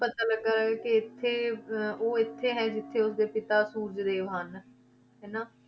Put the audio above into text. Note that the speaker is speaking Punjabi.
ਪਤਾ ਲੱਗਾ ਕਿ ਇੱਥੇ ਅਹ ਉਹ ਇੱਥੇ ਹੈ ਜਿੱਥੇ ਉਸਦੇ ਪਿਤਾ ਸੂਰਜ ਦੇਵ ਹਨ, ਹਨਾ,